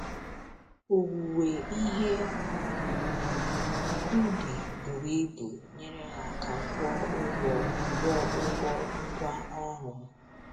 Owuwe ihe ubi buru ibu nyere ha aka kwụọ ụgwọ kwụọ ụgwọ ngwá ọrụ.